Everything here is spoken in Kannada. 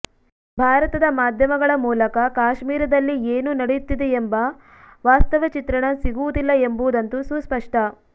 ಭಾರತದ ಮಾಧ್ಯಮಗಳ ಮೂಲಕ ಕಾಶ್ಮೀರದಲ್ಲಿ ಏನು ನಡೆಯುತ್ತಿದೆಯೆಂಬ ವಾಸ್ತವ ಚಿತ್ರಣ ಸಿಗುವುದಿಲ್ಲ ಎಂಬುದಂತೂ ಸುಸ್ಪಷ್ಟ